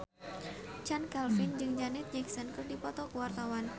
Chand Kelvin jeung Janet Jackson keur dipoto ku wartawan